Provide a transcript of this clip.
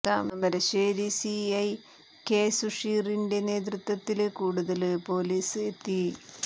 Thamarassery C I K സുഷീറിന്റെ നേതൃത്വത്തില് കൂടുതല് പോലീസ് എത്തി